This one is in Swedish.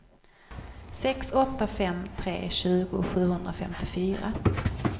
sex åtta fem tre tjugo sjuhundrafemtiofyra